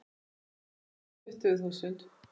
Hundrað og tuttugu þúsund.